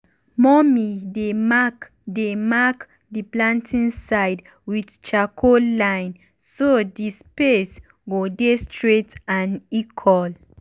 mummy dey mark dey mark the planting side with charcoal line so the space go dey straight and equal.